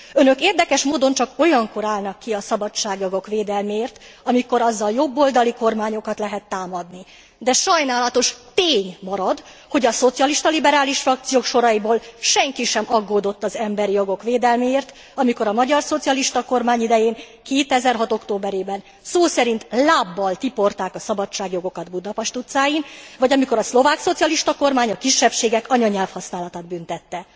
Önök érdekes módon csak olyankor állnak ki a szabadságjogok védelméért, amikor azzal jobboldali kormányokat lehet támadni, de sajnálatos tény marad, hogy szocialista liberális frakciók soraiból senki sem aggódott az emberi jogok védelméért, amikor a magyar szocialista kormány idején 2006 októberében szó szerint lábbal tiporták a szabadságjogokat Budapest utcáin, vagy amikor a szlovák szocialista kormány a kisebbségek anyanyelvhasználatát büntette.